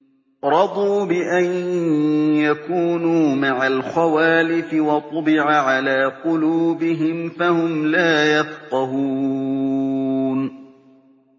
رَضُوا بِأَن يَكُونُوا مَعَ الْخَوَالِفِ وَطُبِعَ عَلَىٰ قُلُوبِهِمْ فَهُمْ لَا يَفْقَهُونَ